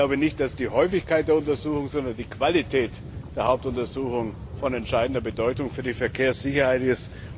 Ich glaube nicht, dass die Häufigkeit der Untersuchung, sondern die Qualität der Hauptuntersuchung von entscheidender Bedeutung für die Verkehrssicherheit ist.